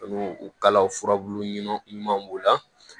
N'u kalaw furabulu ɲuman ɲumanw b'o la